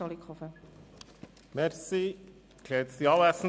Kommissionspräsident der FiKo.